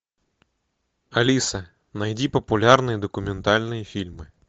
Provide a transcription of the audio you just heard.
алиса найди популярные документальные фильмы